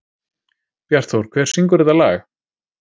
Bjartþór, hver syngur þetta lag?